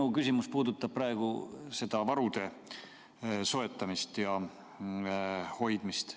Minu küsimus puudutab varude soetamist ja hoidmist.